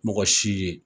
Mɔgɔ si ye